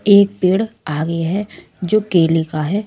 एक पेड़ आगे है जो केले का है।